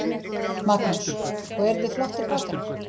Magnús: Og eru þið flottir bakarar?